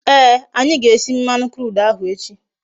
Ee, anyi ga-esi mmanu crude ahu echi